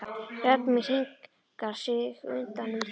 Rödd mín hringar sig utan um þig.